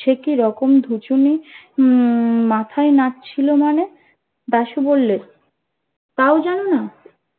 সে কিরকম ধুচুনি উম মাথাই নাছিল মানে দাশু বললো তাও জানো না